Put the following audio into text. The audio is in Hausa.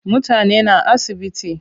Mutane na asibiti.